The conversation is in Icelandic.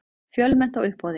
Fjölmennt á uppboði